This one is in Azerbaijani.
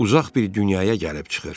Uzaq bir dünyaya gəlib çıxır.